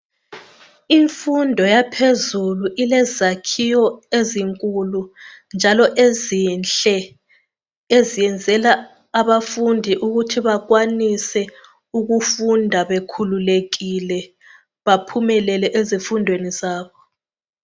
Imfundo yaphezulu ilezakhiwo ezinkulu njalo ezinhle ezenzela abafundi ukuthi bakwanise ukufunda bekhululekile .Baphumelele ezifundweni zabo.